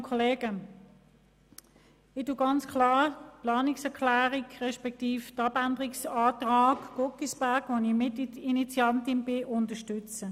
Ich unterstütze klar die Planungserklärung Guggisberg, deren Mitinitiantin ich bin.